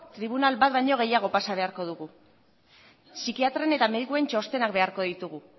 tribunal bat baino gehiago pasa beharko dugu psikiatren eta medikuen txostenak beharko ditugu